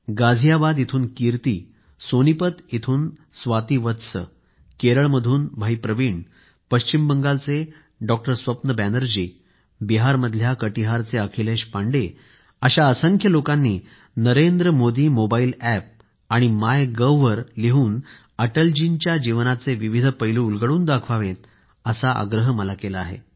गाझियाबादहून कीर्ती सोनीपत इथून स्वाती वत्स केरळमधून भाई प्रवीण पश्चिम बंगालचे डॉक्टर स्वप्न बॅनर्जी बिहारमधल्या कटिहारचे अखिलेश पांडे अशा असंख्य लोकांनी नरेंद्र मोदी मोबाईल अॅप आणि मायगव्हवर लिहून अटल जी यांच्या जीवनाचे विविध पैलू उलगडून दाखवावेत असा आग्रह मला केला आहे